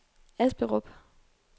Asperup